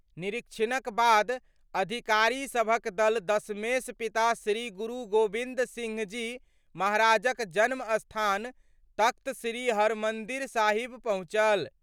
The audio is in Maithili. निरीक्षणक बाद अधिकारीसभक दल दशमेश पिता श्री गुरु गोबिन्द सिंह जी महाराजक जन्मस्थान तख्त श्री हरमन्दिर साहिब पहुँचल।